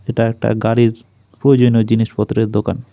এটা একটা গাড়ির প্রয়োজনীয় জিনিসপত্রের দোকান।